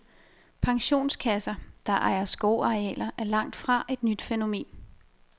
Pensionskasser, der ejer skovarealer, er langt fra et nyt fænomen.